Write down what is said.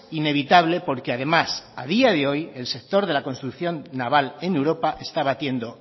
inevitable porque además a día de hoy el sector de la construcción naval en europa está batiendo